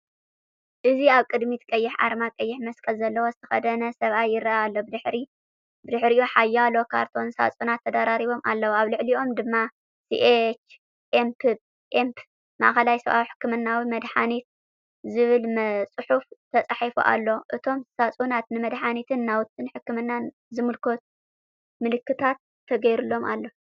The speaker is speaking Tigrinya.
እዚ ኣብ ቅድሚት ቀይሕ ኣርማ ቀይሕ መስቀል ዘለዎ ዝተከደነ ሰብኣይ ይረአ ኣሎ። ብድሕሪኡ ሓያሎ ካርቶን ሳጹናት ተደራሪቦም ኣለዉ፡ኣብ ልዕሊኦም ድማ"ሲኤችኤምፕ - ማእከላይ ሰብኣዊ ሕክምናዊ መድሃኒት"ዝብል ጽሑፍ ተጻሒፉ ኣሎ። እቶም ሳጹናት ንመድሃኒትን ናውቲ ሕክምናን ዝምልከት ምልክታት ተገይሩሎም ኣሎ።